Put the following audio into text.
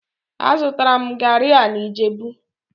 Azụtara m garri a na ijebu